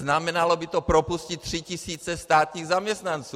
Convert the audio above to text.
Znamenalo by to propustit tři tisíce státních zaměstnanců.